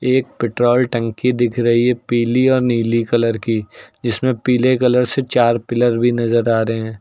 एक पेट्रोल टंकी दिख रही है पीली और नीली कलर की जिसमें पीले कलर से चार पिलर भी नजर आ रहे हैं।